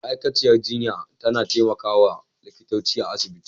ma'aikaciyar jinya tAna temaka wa likita a asibiti